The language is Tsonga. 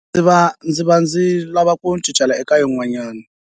ndzi va ndzi lava ku eka yinwana.